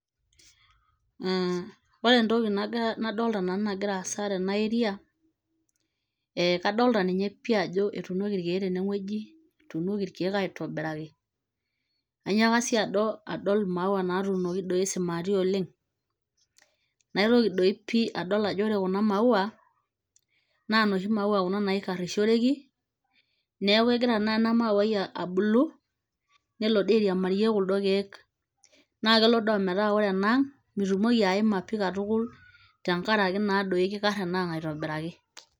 Ore entoki nadomita nanu nagira aasa tena area kadolita ninye pii ajo etunoki irkeek teneweji etunoki irkeek aitobiraki. Anaaka sii adol maua natuunoki simati oleng'. Naitoki doii pii adol ajo ore kuuna maua naa noshi maua kuuna naikarishoreki , neeku egira tenakara ena mauai abulu nelo doii airiamarie kuldo keek. Naa kelo doi imetaa ore ena ang' mitumoki aima pii katukul tenkaraki naadoi kikara enaang' aitobiraki.